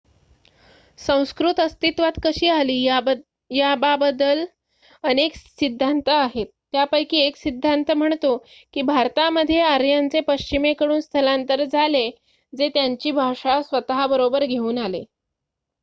संस्कृत अस्तित्वात कशी आली याबाबदल अनेक सिद्धांत आहेत. त्यांपैकी १ सिद्धांत म्हणतो की भारतामध्ये आर्यांचे पश्चिमेकडून स्थलांतर झाले जे त्यांची भाषा स्वतःबरोबर घेऊन आले